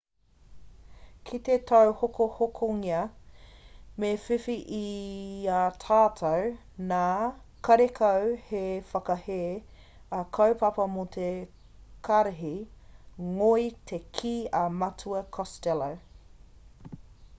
kite tauhokohokongia me whiwhi i a tātou nā karekau he whakahē a kaupapa mo te karihi ngoi te kī a matua costello